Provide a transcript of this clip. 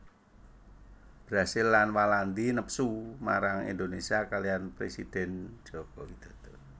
Brazil lan Walandi nepsu marang Indonésia kaliyan présidèn Joko Widodo